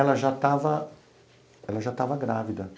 Ela já estava ela já estava grávida.